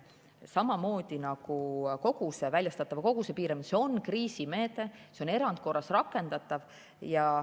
Samamoodi nagu väljastatava koguse piiramine, on see kriisimeede, erandkorras rakendatav.